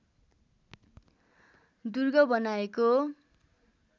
दुर्ग बनाएको